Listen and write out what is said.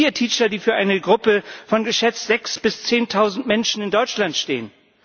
Nicht Peer Teacher, die für eine Gruppe von geschätzt sechs bis zehntausend Menschen in Deutschland stehen.